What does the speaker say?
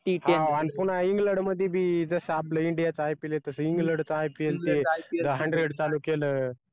आन पुन्हा england मधी बी जसं आपलं india च ipl येतं england चं ipl ते चालू केलं